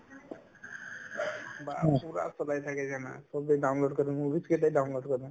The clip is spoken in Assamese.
বাহ্ ! পুৰা চলাই থাকে জানা চবে download কৰে movies কেইটা download কৰে